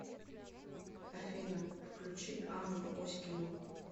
афина включи анну оськину